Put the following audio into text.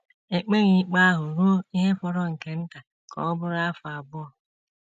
E kpeghị ikpe ahụ ruo ihe fọrọ nke nta ka ọ bụrụ afọ abụọ.